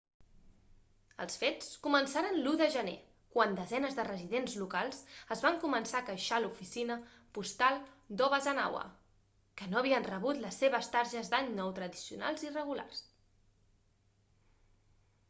els fets començaren l'1 de gener quan desenes de residents locals es van començar a queixar a l'oficina postal d'obanazawa que no havien rebut les seves targes d'any nou tradicionals i regulars